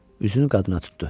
Üzünü qadına tutdu.